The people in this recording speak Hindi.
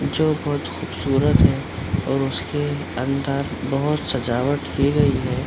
जो बहुत खूबसूरत है और उसके अंदर बहुत सजावट की गई है।